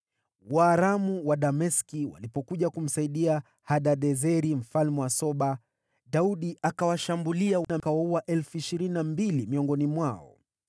Waaramu wa Dameski walipokuja kumsaidia Hadadezeri mfalme wa Soba, Daudi akawashambulia na kuwaua 22,000 miongoni mwao.